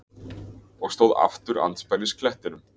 Og stóð aftur andspænis klettinum.